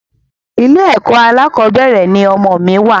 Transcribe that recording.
Ilé ẹkọ alákọ̀bẹ́rẹ̀ ni ọmọ mi wa